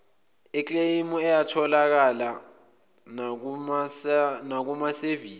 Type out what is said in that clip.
ekleyimu ayatholakala nakumasevisi